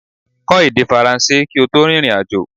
Kọ́ èdè faransé kí o tó rìnrìn àjò